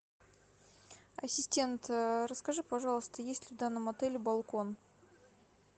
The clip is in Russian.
ассистент расскажи пожалуйста есть ли в данном отеле балкон